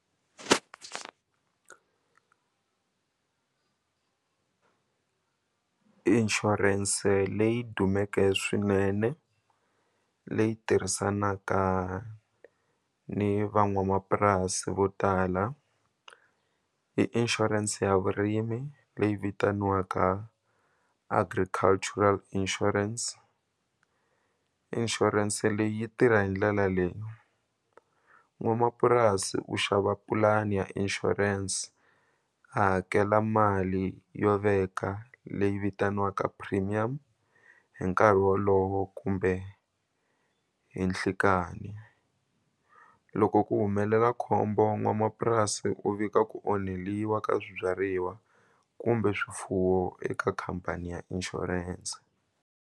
Inshurense leyi dumeke swinene leyi tirhisanaka ni van'wamapurasi vo tala i insurance ya vurimi leyi vitaniwaka Agricultural Insurance insurance leyi yi tirha hi ndlela leyi n'wamapurasi u xava pulani ya insurance a hakela mali yo veka leyi vitaniwaka premium hi nkarhi wolowo kumbe hi nhlikani loko ku humelela khombo n'wamapurasi u vika ku onheliwa ka swibyariwa kumbe swifuwo eka khampani ya inshurense.